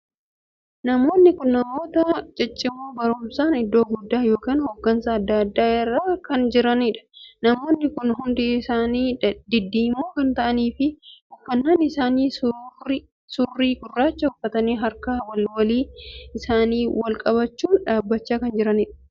Namoonni kun namoota ciccimoo barumsaan iddoo guddaa ykn hoggansa addaa addaa irra kan jiraniidha. namoonni kun hundi isaanii diddiimoo kan taa'aniif fi uffannaan isaanii suurii gurraacha uffatanii harka walii walii isaanii wal qabachuun dhaabbachaa kan jiraniidha.